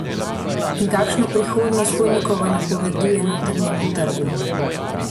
In kakšno prihodnost Hojnikova napoveduje notranjemu trgu?